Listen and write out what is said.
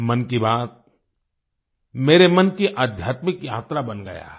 मन की बात मेरे मन की आध्यात्मिक यात्रा बन गया है